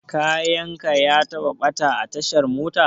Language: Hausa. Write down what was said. Kayan ka ya taɓa ɓata a tashar mota?